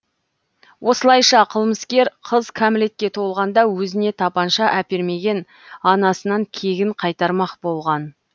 осылайша қылмыскер қыз кәмілетке толғанда өзіне тапанша әпермеген анасынан кегін қайтармақ болған